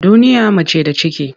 Duniya mace da ciki.